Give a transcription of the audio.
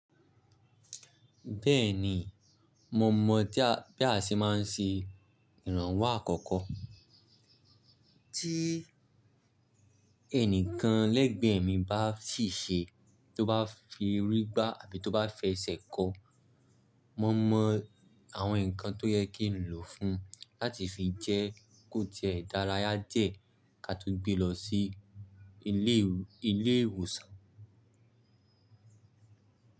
Bẹ́ẹ̀ni, mo mọ̀ bí a ṣe máa ń ṣe ìrànwọ́ àkọ́kọ́. Tí ẹnìkan lẹ́gbẹ̀ẹ́ mi bá sì ṣe, tó bá fi rí gbá àbí tó bá fẹsẹ̀ kọ́, mo mọ̀ àwọn nǹkan tó yẹ kí n lò fún láti fi jẹ́ kó jẹ́ ìdárayá díẹ̀ ká tó gbé lọ sí ilé ìwòsàn.